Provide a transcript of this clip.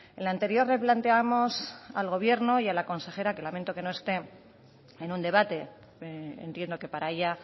en la anterior replanteamos al gobierno y a la consejera que lamento que no esté en un debate entiendo que para ella